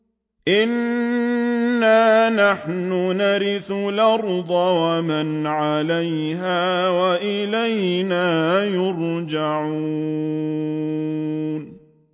إِنَّا نَحْنُ نَرِثُ الْأَرْضَ وَمَنْ عَلَيْهَا وَإِلَيْنَا يُرْجَعُونَ